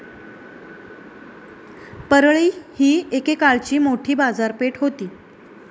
परळी ही एकेकाळची मोठी बाजारपेठ होती.